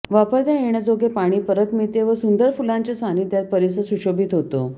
वापरता येण्याजोगे पाणी परत मिळते व सुंदर फुलांच्या सान्निध्यात परिसर सुशोभित होतो